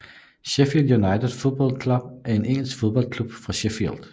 Sheffield United Football Club er en engelsk fodboldklub fra Sheffield